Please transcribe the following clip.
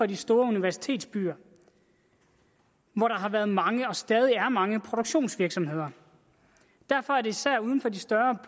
de store universitetsbyer hvor der har været mange og stadig er mange produktionsvirksomheder derfor er det især uden for de større